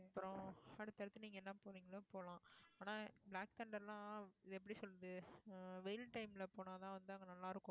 அப்புறம் அடுத்தடுத்து நீங்க என்ன போறீங்களோ போலாம் ஆனால் black thunder லாம் இத எப்படி சொல்றது அஹ் வெயில் time ல போனாதான் வந்து அங்க நல்லா இருக்கும்